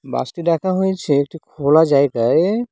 বাস -টি রাখা হয়েছে একটি খোলা জায়গায়।